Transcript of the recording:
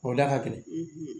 O da ka gɛlɛn